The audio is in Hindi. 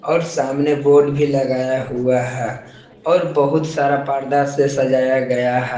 और सामने बोर्ड भी लगाया हुआ है और बहुत सारा पर्दा से सजाया गया है।